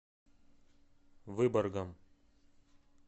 выборгом